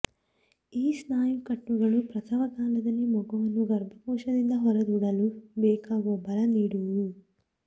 ಈ ಸ್ನಾಯು ಕಟ್ಟುಗಳು ಪ್ರಸವಕಾಲದಲ್ಲಿ ಮಗುವನ್ನು ಗರ್ಭಕೋಶದಿಂದ ಹೊರದೂಡಲು ಬೇಕಾಗುವ ಬಲ ನೀಡುವುವು